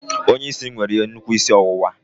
Onye isi m nwere nnukwu isi ọwụwa